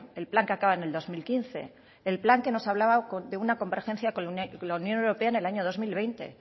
el plan que acaba en el dos mil quince el plan que nos hablaba de una convergencia con la unión europea en el año dos mil veinte